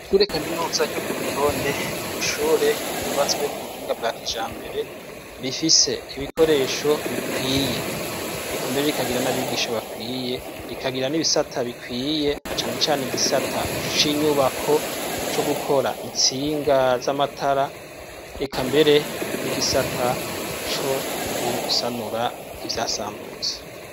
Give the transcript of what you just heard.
Tureka minuza ryo ku rutonde nishure yubatswe ku buhinga bwakija mbere rifise ibikoresho bikwiye ekambere rikagira n'abigisho bakwiye rikagira n'ibisata bikwiye acanecane igisata c'inyubako co gukora intsinga z'amatara eka mbere n'igisata a co gusanura ivyasambutse.